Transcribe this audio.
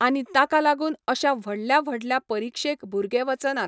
आनी ताका लागून अशा व्हडल्या व्हडल्या परिक्षेक भुरगे वचनात.